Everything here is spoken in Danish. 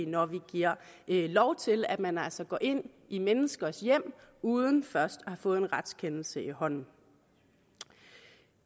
når vi giver lov til at man altså går ind i menneskers hjem uden først at have fået en retskendelse i hånden